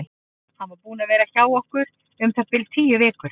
Hann var búinn að vera hjá okkur um það bil tíu vikur.